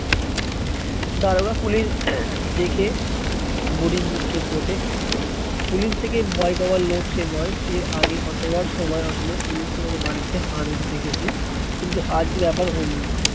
দারোগা পুলিশ দেখে বুড়ির বুক কেঁপে ওঠে। পুলিশ দেখে ভয় পাবার লোক সে নয়, এর আগেই কতবার সময় অসময় পুলিশকে তাদের বাড়িতে হানা দিতে দেখেছে। কিন্তু আজ ব্যাপার অন্য।